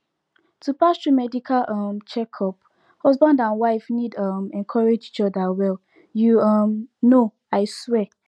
to pass through medical um checkup husband and wife need um encourage each other well you um know i swear